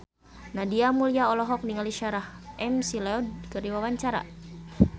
Nadia Mulya olohok ningali Sarah McLeod keur diwawancara